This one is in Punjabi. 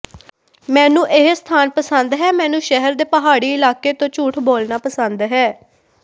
ਮੈਨੂੰ ਇਹ ਸਥਾਨ ਪਸੰਦ ਹੈ ਮੈਨੂੰ ਸ਼ਹਿਰ ਦੇ ਪਹਾੜੀ ਇਲਾਕੇ ਤੋਂ ਝੂਠ ਬੋਲਣਾ ਪਸੰਦ ਹੈ